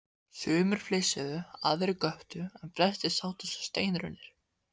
Sumir flissuðu, aðrir göptu en flestir sátu sem steinrunnir.